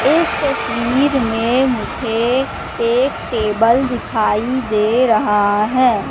इस तस्वीर मे मुझे एक टेबल दिखाई दे रहा है।